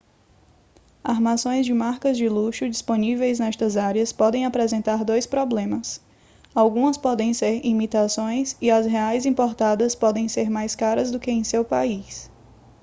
armações de marcas de luxo disponíveis nestas áreas podem apresentar dois problemas algumas podem ser imitações e as reais importadas podem ser mais caras do que em seu país